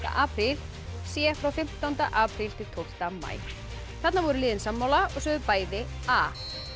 apríl c frá fimmtánda apríl til tólfta maí þarna voru liðin sammála og sögðu bæði a